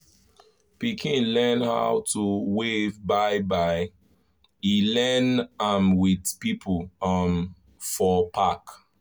pikin learn how to wave bye-bye e learn m with people um for park